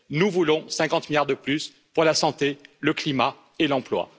Nous voulons 50 milliards de plus pour la santé, le climat et l'emploi.